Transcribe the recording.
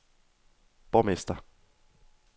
borgmester